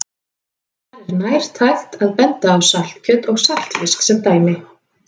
Þar er nærtækt að benda á saltkjöt og saltfisk sem dæmi.